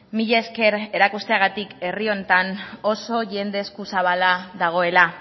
mila esker erakusteagatik herri honetan oso jende eskuzabala dagoela